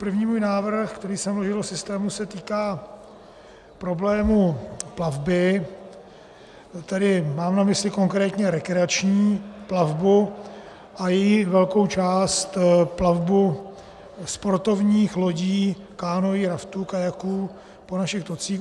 První můj návrh, který jsem vložil do systému, se týká problému plavby, tedy mám na mysli konkrétně rekreační plavbu a její velkou část, plavbu sportovních lodí, kánoí, raftů, kajaků, po našich tocích.